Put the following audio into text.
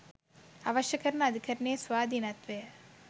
අවශ්‍ය කරන අධිකරණයේ ස්වාධීනත්වය